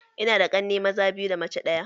Ina da ƙanne maza biyu da mace ɗaya